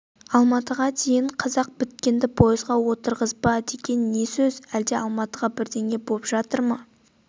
алматыға дейін қазақ біткенді пойызға отырғызба деген не сөз әлде алматыда бірдеңе боп жатыр ма